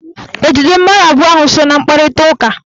E jidere mmadụ abụọ ahụ so na mkparitaụka?